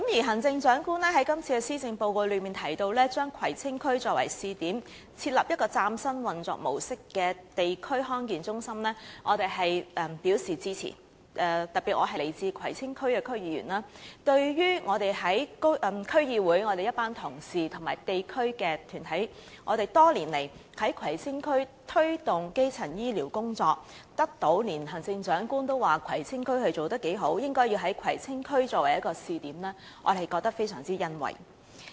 行政長官在施政報告中提到要將葵青區作為試點，設立一個嶄新運作模式的地區康健中心，我們表示支持，尤其是我是葵青區區議員，我們在區議會的一群同事及地區團體多年來在葵青區推動基層醫療工作，連行政長官也讚賞葵青區做得不錯，應該以葵青區作為一個試點，我們對此感到非常欣慰。